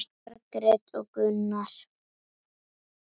Margrét og Gunnar.